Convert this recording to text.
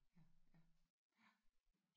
Ja ja ja